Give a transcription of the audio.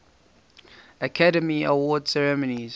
academy awards ceremony